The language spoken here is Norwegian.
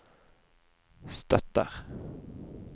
støtter